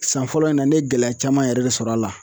San fɔlɔ in na ne ye gɛlɛya caman yɛrɛ de sɔrɔ a la.